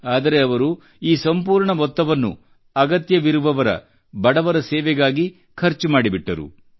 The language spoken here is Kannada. ಆದರೆ ಅವರು ಈ ಸಂಪೂರ್ಣ ಮೊತ್ತವನ್ನು ಅಗತ್ಯವಿರುವವರ ಬಡವರ ಸೇವೆಗಾಗಿ ಖರ್ಚು ಮಾಡಿಬಿಟ್ಟರು